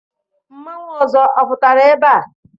Mmanwụ ọzọ apụtala ebea?